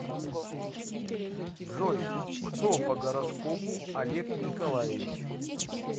джой кто по гороскопу олег николаевич